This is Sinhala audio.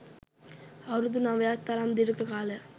අවුරුදු නවයක් තරම් දීර්ඝ කාලයක්